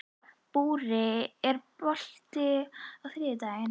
Búri, er bolti á þriðjudaginn?